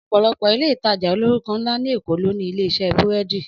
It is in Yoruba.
Ọ̀pọ̀lọpọ̀ Ilé-ìtajà olórúkọ ńlá ní Èkó ló ní ilé iṣẹ́ búrẹ́dì